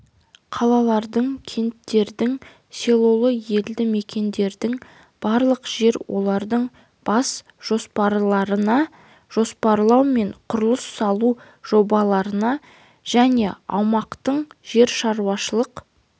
қалалардың кенттердің селолық елді мекендердің барлық жер олардың бас жоспарларына жоспарлау мен құрылыс салу жобаларына және аумақтың жер-шаруашылық